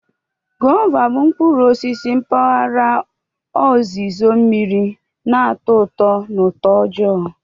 Gwova bụ mkpụrụ osisi mkpaghara ozizo mmiri na-atọ ụtọ na utoojoo.